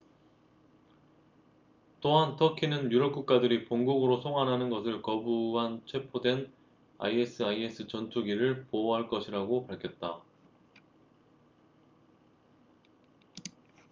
또한 터키는 유럽 국가들이 본국으로 송환하는 것을 거부한 체포된 isis 전투기를 보호할 것이라고 밝혔다